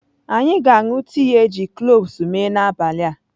Anyị ga-aṅụ tii e ji kloves mee n'abalị a.